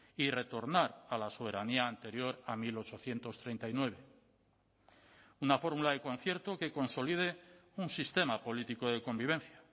y retornar a la soberanía anterior a mil ochocientos treinta y nueve una fórmula de concierto que consolide un sistema político de convivencia